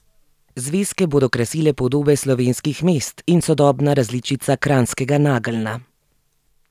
Zvezke bodo krasile podobe slovenskih mest in sodobna različica kranjskega nageljna.